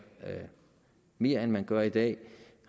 mere end man gør i dag